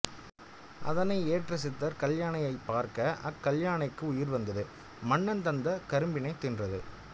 அதனை ஏற்ற சித்தர் கல்யானையைப் பார்க்க அக்கல்யானைக்கு உயிர்வந்து மன்னன் தந்த கரும்பினைத் தின்றது